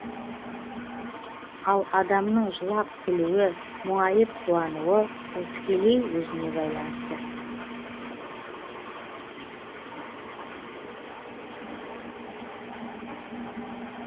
ал адамның жылап күлуі мұңайып қуануы ол тікелей өзіне байланысты